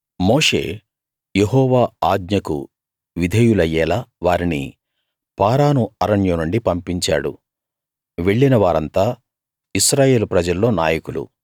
మోషే యెహోవా ఆజ్ఞకు విధేయులయ్యేలా వారిని పారాను అరణ్యం నుండి పంపించాడు వెళ్ళిన వారంతా ఇశ్రాయేలు ప్రజల్లో నాయకులు